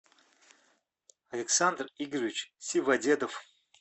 александр игоревич сиводедов